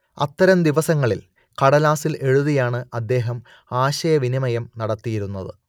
അത്തരം ദിവസങ്ങളിൽ കടലാസിൽ എഴുതിയാണ് അദ്ദേഹം ആശയവിനിമയം നടത്തിയിരുന്നത്